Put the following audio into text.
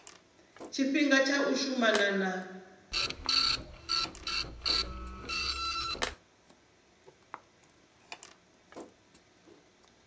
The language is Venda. tshifhinga tsha u shumana na